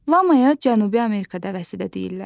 Lamaya Cənubi Amerikada vəsi də deyirlər.